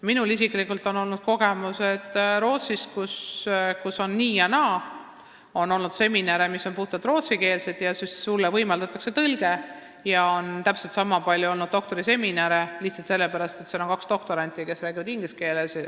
Minul isiklikult on kogemusi Rootsist, kus on olnud nii ja naa, seal on olnud puhtalt rootsikeelseid seminare, kus võimaldatakse tõlget, ja on täpselt niisama palju olnud ingliskeelseid doktoriseminare, lihtsalt sellepärast, et seal oli kaks doktoranti, kes rääkisid inglise keeles.